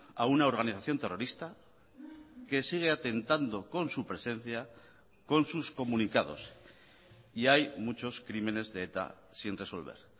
a una organización terrorista que sigue atentando con su presencia con sus comunicados y hay muchos crímenes de eta sin resolver